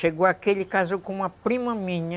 Chegou aqui, ele casou com uma prima minha,